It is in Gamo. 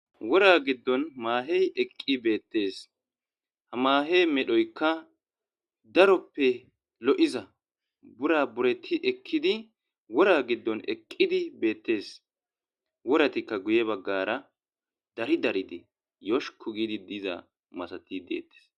Wora giddon maahey eqqi beettees,ha maahe medhoyika daroppe lo7iza burabereti ekkiza wora giddon eqqidi beettees, woratika guye baggara dari dari giidi yoshkku giidi deettees.